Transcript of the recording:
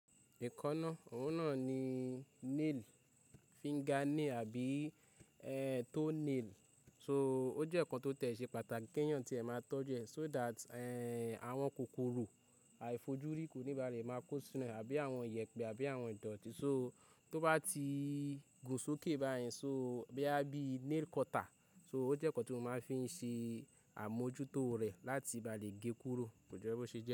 Ekanná, òun náà ni nail, finger nail àbí toe nail. So, ó jẹ́ nǹkan tó tẹ̀ ṣe pàtàkì keyàn tí ẹ máa tọ́jú ẹ̀, so that, awon kòkòrò aàìfojúrí ko ní ba le máa kó sínú ẹ̀ àbí àwọn iyẹ̀pẹ̀ àbí àwọn ìdọ̀tí. So, tó bá ti gùn sókè báyìí, so bóyá bí nail cutter, so ó jẹ́ nǹkan tí mo máa fi ń ṣe àmójútó rẹ̀ láti ba lè gé kúrò. Kò jẹ́ pé ó ṣe jẹ́.